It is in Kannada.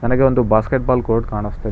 ನನಗೆ ಒಂದು ಬಾಸ್ಕೆಟ್ ಬಾಲ್ ಕೋಟ್ ಕಾಣಿಸುತ್ತಿದೆ.